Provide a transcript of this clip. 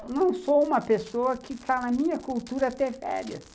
Eu não sou uma pessoa que está na minha cultura ter férias.